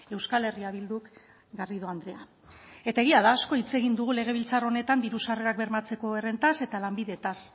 euskal herria bilduk garrido andrea eta egia da asko hitz egin du legebiltzar honetan diru sarrerak bermatzeko errentaz eta lanbidetaz